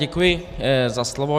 Děkuji za slovo.